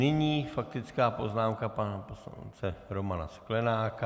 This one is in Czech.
Nyní faktická poznámka pana poslance Romana Sklenáka.